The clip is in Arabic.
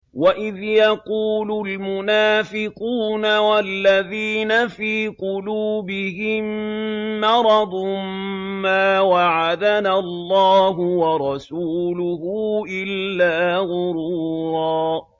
وَإِذْ يَقُولُ الْمُنَافِقُونَ وَالَّذِينَ فِي قُلُوبِهِم مَّرَضٌ مَّا وَعَدَنَا اللَّهُ وَرَسُولُهُ إِلَّا غُرُورًا